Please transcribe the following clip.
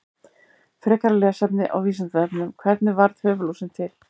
Frekara lesefni á Vísindavefnum: Hvernig varð höfuðlúsin til?